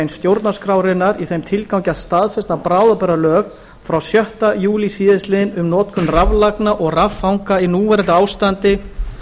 stjórnarskrárinnar í þeim tilgangi að staðfesta bráðabirgðalög frá sjötta júlí síðastliðinn um notkun raflagna og raffanga í núverandi ástandi